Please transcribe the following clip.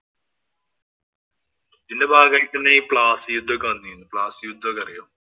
ഇതിന്‍റെ ഭാഗയിട്ടാണ് ഈ പ്ലാസി യുദ്ധം ഒക്കെ വന്നേന്. പ്ലാസി യുദ്ധം ഒക്കെ അറിയുവോ?